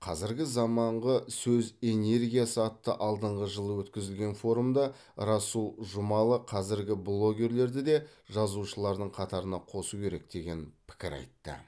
қазіргі заманғы сөз энергиясы атты алдыңғы жылы өткізілген форумда расул жұмалы қазіргі блогерлерді де жазушылардың қатарына қосу керек деген пікір айтты